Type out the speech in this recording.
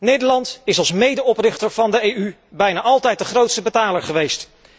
Nederland is als medeoprichter van de EU bijna altijd de grootste betaler geweest.